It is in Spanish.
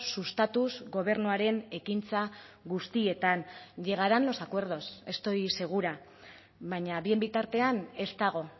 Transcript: sustatuz gobernuaren ekintza guztietan llegarán los acuerdos estoy segura baina bien bitartean ez dago